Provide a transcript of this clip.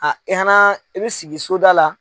A i y'a na i bi sigi soda la